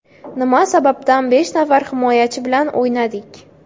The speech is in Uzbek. Nima sababdan besh nafar himoyachi bilan o‘ynadik?